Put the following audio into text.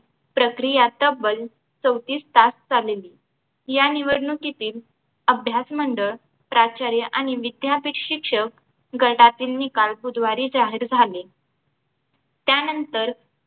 प्रक्रिया तब्बल चौतीस तास चालली या निवडणुकीतील अभ्यासमंडळ प्राचार्य आणि विद्यापीठ शिक्षक गटातील निकाल बुधवारी जाहीर झाले त्यांनतर